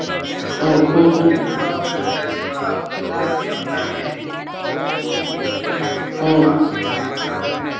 એટલે ગઝલ શું કેતો હતો આપડે ગુજરાતી માં અપને ગુજરાતી એ અપનાવી લીધી ઉર્દુ અને સૌથી પેલા પારસી માં ને એમાં ચાલુ થઇ,